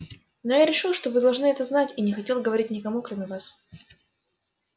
но я решил что вы должны это знать и не хотел говорить никому кроме вас